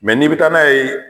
n'i bi taa n'a ye